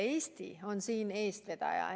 Eesti on siin eestvedaja.